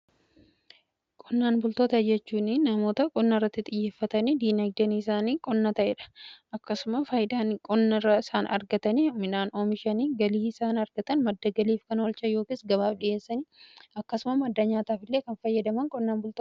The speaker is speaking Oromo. Qonnaan bultoota jechuuni namoota qonna irratti xiyyeeffatanii diinaagdan isaanii qonnaa ta'eedha. Akkasuma faayidaan qonna irra isaan argatanii midhaan oomishanii galii isaan argatan madda galiif kan oolchan yookiis gabaaf dhi'eessanii akkasuma madda nyaataaf illee kan fayyadaman qonnan bulutoota jedhamu.